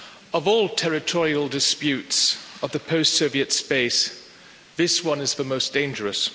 Of all territorial disputes of the post Soviet states, this one is the most dangerous.